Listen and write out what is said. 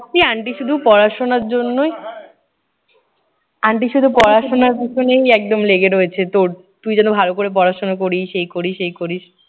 এই aunty শুধু পড়াশোনার জন্যই aunty শুধু পড়াশোনার পিছনেই একদম লেগে রয়েছে তোর। তুই যেন ভালো পড়াশোনা করিস, এই করিস, এই করিস।